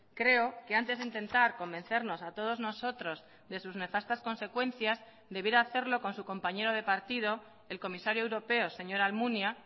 creo que antes de intentar convencernos a todos nosotros de sus nefastas consecuencias debiera hacerlo con su compañero de partido el comisario europeo señor almunia